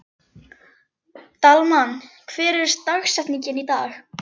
Dalmann, hver er dagsetningin í dag?